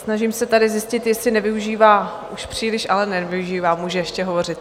Snažím se tady zjistit, jestli nevyužívá už příliš, ale nevyužívá, může ještě hovořit.